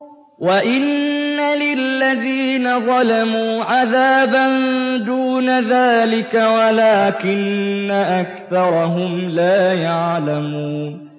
وَإِنَّ لِلَّذِينَ ظَلَمُوا عَذَابًا دُونَ ذَٰلِكَ وَلَٰكِنَّ أَكْثَرَهُمْ لَا يَعْلَمُونَ